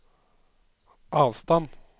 avstand